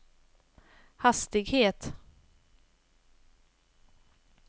hastighet